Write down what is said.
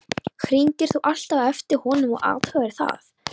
Hringdir þú alltaf á eftir honum og athugaðir það?